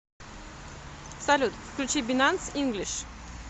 салют включи бинанс инглиш